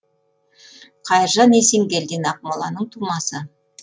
қайыржан есенгелдин ақмоланың тумасы